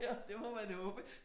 Det må man håbe